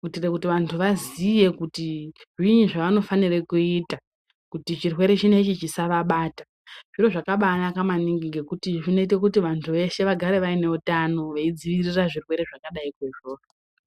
kuitira kuti vantu vaziye kuti zvinyi zvavanofanira kuita kuti chirwere chinechi chisavabata zviro zvakabanaka maningi ngekuti zvinoita kuti vantu veshe vagare vaine utano veidzivirira zvirwere zvakadaiko izvozvo.